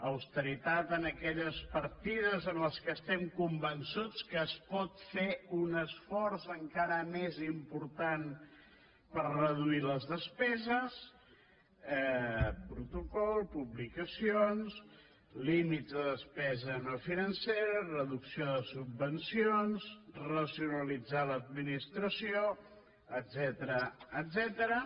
austeritat en aquelles partides en què estem convençuts que es pot fer un esforç encara més important per reduir les despeses protocol publicacions límits de despesa no financera reducció de subvencions racionalitzar l’administració etcètera